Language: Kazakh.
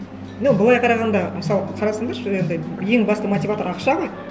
ну былай қарағанда мысалы қарасаңдаршы енді ең басты мотиватор ақша ғой